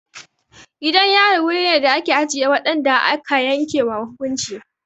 Gidan yari wuri ne da ake ajiye waɗanda aka yanke ma hukunci.